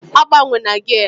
Agbanwela gia!